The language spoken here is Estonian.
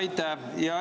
Aitäh!